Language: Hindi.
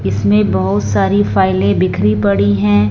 इसमें बहुत सारी फाइलें बिखरी पड़ी हैं।